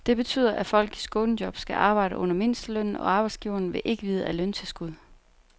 Det betyder, at folk i skånejob skal arbejde under mindstelønnen, og arbejdsgiverne vil ikke vide af løntilskud.